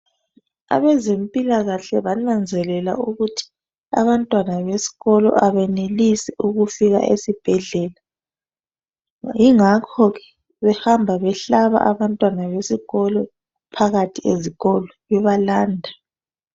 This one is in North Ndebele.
Abezempilakahle bananzelela ukuthi abantwana besikolo abenelisi ukufika esibhedlela. Yingakho ke behamba behlaba abantwana besikolo phakathi ezikolo bebalanda.